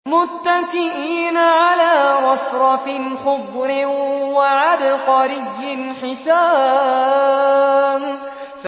مُتَّكِئِينَ عَلَىٰ رَفْرَفٍ خُضْرٍ وَعَبْقَرِيٍّ حِسَانٍ